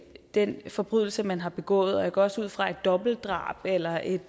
den forbrydelse man har begået og jeg går også ud fra at et dobbeltdrab eller et